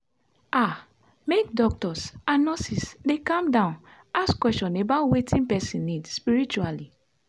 ah make doctors and nurses dey calm down ask question about about wetin person need spritually.